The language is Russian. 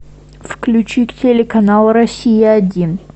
включи телеканал россия один